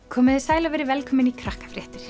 komiði sæl og verið velkomin í